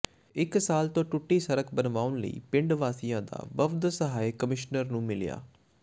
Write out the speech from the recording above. ਇਕ ਸਾਲ ਤੋਂ ਟੁੱਟੀ ਸੜਕ ਬਣਵਾਉਣ ਲਈ ਪਿੰਡ ਵਾਸੀਆਂ ਦਾ ਵਫ਼ਦ ਸਹਾਇਕ ਕਮਿਸ਼ਨਰ ਨੂੰ ਮਿਲਿਆ